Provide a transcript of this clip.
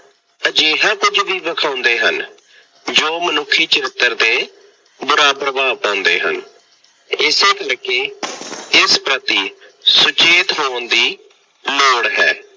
ਅਜਿਹਾ ਕੁੱਝ ਵੀ ਦਿਖਾਉਂਦੇ ਹਨ ਜੋ ਮਨੁੱਖੀ ਚਰਿੱਤਰ ਤੇ ਬੁਰਾ ਪ੍ਰਭਾਵ ਪਾਉਂਦੇ ਹਨ। ਇਸੇ ਕਰਕੇ ਇਸ ਪ੍ਰਤੀ ਸੁਚੇਤ ਹੋਣ ਦੀ ਲੋੜ ਹੈ।